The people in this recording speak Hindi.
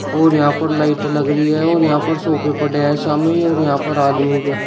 और यहां पर लाइट लग रही है और यहां पर सोफे पड़े हैं सामने ही और यहां पर आदमी--